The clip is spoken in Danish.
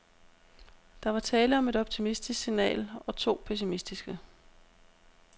Der var tale om et optimistisk signal og to pessimistiske.